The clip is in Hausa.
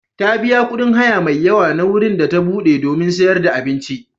Ta biya kuɗin haya mai yawa na wurin da ta buɗe domin sayar da abinci.